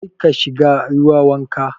Karka shiga ruwa wanka.